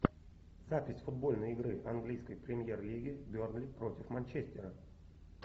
запись футбольной игры английской премьер лиги бернли против манчестера